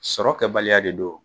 Sɔrɔ kɛ baliya de don.